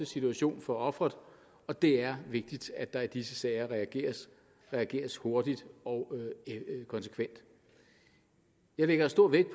situation for offeret og det er vigtigt at der i disse sager reageres reageres hurtigt og konsekvent jeg lægger stor vægt